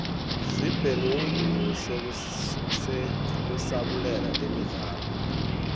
sibhnemiumb yekusabulela temidlalo